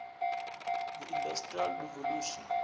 the industrial revolution